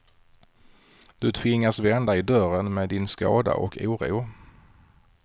Du tvingas vända i dörren med din skada och oro.